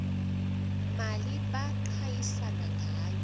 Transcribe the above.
mali baqhayisa ngayo